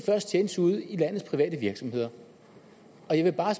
tjenes ude i landets private virksomheder og jeg vil bare